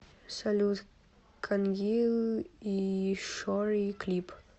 салют кангил ишори клип